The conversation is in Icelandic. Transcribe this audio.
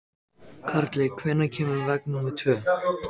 Karli, hvenær kemur vagn númer tvö?